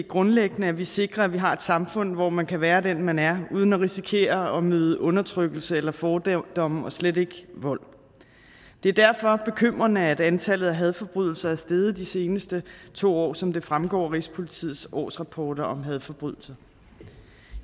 grundlæggende at vi sikrer at vi har et samfund hvor man kan være den man er uden at risikere at møde undertrykkelse eller fordomme og slet ikke vold det er derfor bekymrende at antallet af hadforbrydelser er steget de seneste to år som det fremgår af rigspolitiets årsrapporter om hadforbrydelser